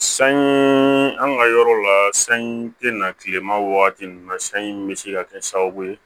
Sanyɔn an ka yɔrɔ la sanji tɛ na tilema wagati ninnu na sanji bɛ se ka kɛ sababu ye